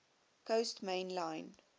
coast main line